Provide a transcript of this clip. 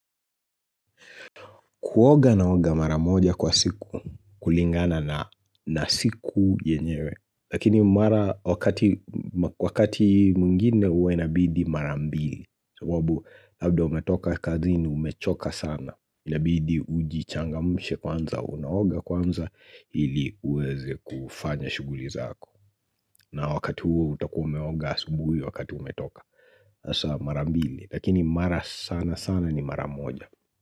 Kuoga naoga mara moja kwa siku, kulingana na siku yenyewe, lakini mara wakati wakati mwingine huwa inabidi marambili, sababu labda umetoka kazi ni umechoka sana, inabidi ujichangamushe kwanza, unaoga kwanza ili uweze kufanya shuguli zako, na wakati huo utakua umeoga asubuhi wakati umetoka, hasa marambili, lakini mara sana sana ni maramoja.